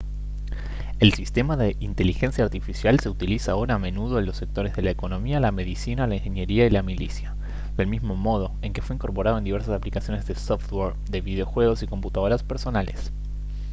el sistema de inteligencia artificial se utiliza ahora a menudo en los sectores de la economía la medicina la ingeniería y la milicia del mismo modo en que fue incorporado en diversas aplicaciones de software de videojuegos y computadoras personales